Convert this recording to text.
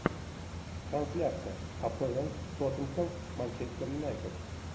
трансляция апл тоттенхэм манчестер юнайтед